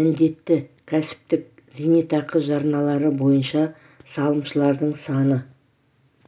міндетті кәсіптік зейнетақы жарналары бойынша салымшылардың саны